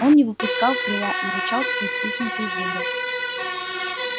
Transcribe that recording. он не выпускал крыла и рычал сквозь стиснутые зубы